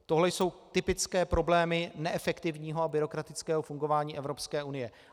Tohle jsou typické problémy neefektivního a byrokratického fungování Evropské unie.